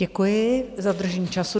Děkuji za dodržení času.